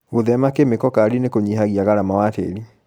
Gũthema kĩmĩko kali nĩkũnyihagia garama wa tĩri.